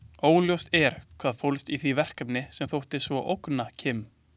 Óljóst er hvað fólst í því verkefni sem þótti svo ógna Kim.